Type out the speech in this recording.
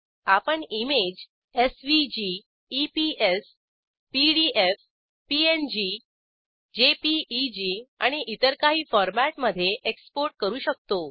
आपण image SVG EPS PDF PNG JPEG आणि इतर काही फॉरमॅटमधे एक्सपोर्ट करू शकतो